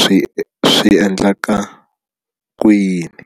swi swi endlaka ku yini.